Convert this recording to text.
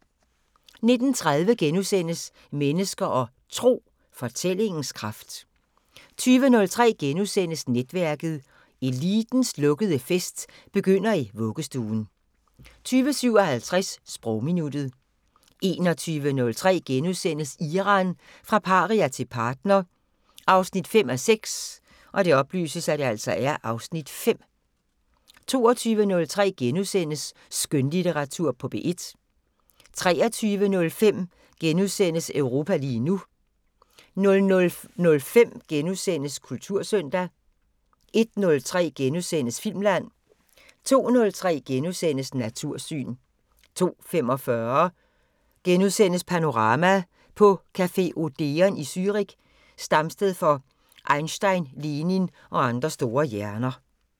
19:30: Mennesker og Tro: Fortællingens kraft * 20:03: Netværket: Elitens lukkede fest begynder i vuggestuen * 20:57: Sprogminuttet 21:03: Iran – fra paria til partner 5:6 (Afs. 5)* 22:03: Skønlitteratur på P1 * 23:05: Europa lige nu * 00:05: Kultursøndag * 01:03: Filmland * 02:03: Natursyn * 02:45: Panorama: På café Odeon i Zürich, stamsted for Einstein, Lenin og andre store hjerner *